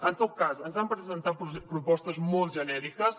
en tot cas ens han presentat propostes molt genèriques